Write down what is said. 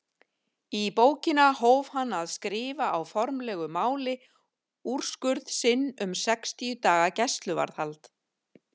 Í bókina hóf hann að skrifa á formlegu máli úrskurð sinn um sextíu daga gæsluvarðhald.